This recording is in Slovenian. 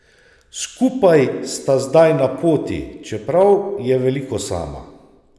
Skupaj sta zdaj na poti, čeprav je veliko sama.